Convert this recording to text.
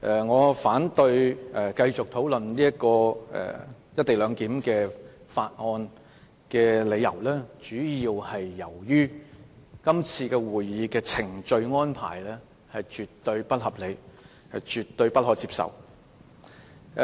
我反對繼續討論《廣深港高鐵條例草案》，主要理由是今次會議的程序安排絕對不合理，絕對不可接受。